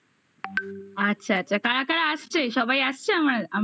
noise আচ্ছা আচ্ছা কারা কারা আসছে? সবাই আসছে আমার আমাদের ?